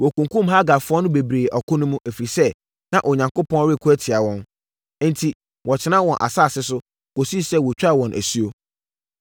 Wɔkunkumm Hagarfoɔ no bebree ɔko no mu, ɛfiri sɛ, na Onyankopɔn reko tia wɔn. Enti, wɔtenaa wɔn asase so, kɔsii sɛ wɔtwaa wɔn asuo.